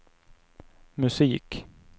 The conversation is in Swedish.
musik